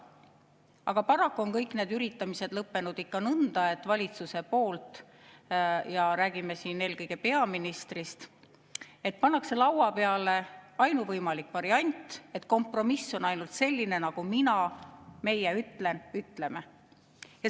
Aga paraku on kõik need üritamised lõppenud ikka nõnda, et valitsus – ja räägime siin eelkõige peaministrist – paneb laua peale ainuvõimaliku variandi: kompromiss on ainult selline, nagu mina/meie ütlen/ütleme.